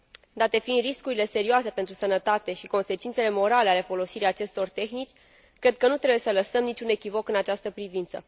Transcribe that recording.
Date fiind riscurile serioase pentru sănătate și consecințele morale ale folosirii acestor tehnici, cred că nu trebuie să lăsăm niciun echivoc în această privință.